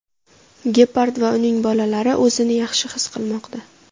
Gepard va uning bolalari o‘zini yaxshi his qilmoqda.